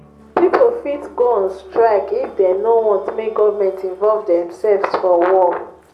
pipo fit go on strike if dem no want make government involve themselves for war